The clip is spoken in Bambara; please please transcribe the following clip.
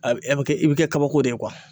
A bɛ kɛ i bɛ kɛ kabako de ye